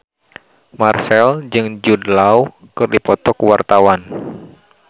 Marchell jeung Jude Law keur dipoto ku wartawan